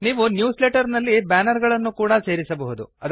ನೀವು newsletter ನಲ್ಲಿ banner ಗಳನ್ನು ಕೂಡಾ ಸೇರಿಸಬಹುದು